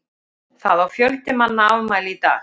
Það á fjöldi manna afmæli í dag.